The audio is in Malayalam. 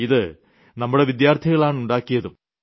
ഇത് നമ്മുടെ വിദ്യാർത്ഥികളാണ് ഉണ്ടാക്കിയതും